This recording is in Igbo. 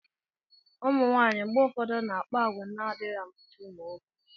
ụmụ nwanyị mgbe ụfọdụ na-akpa àgwà na-adịghị amasị ụmụ nwoke